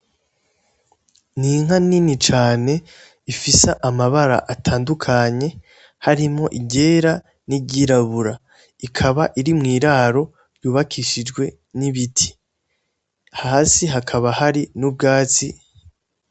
Ninka nini cane ifisa amabara atandukanye harimo iryera n'iryirabura ikaba iri mw'iraro ryubakishijwe n'ibiti hasi hakaba hari n'ubwatsi.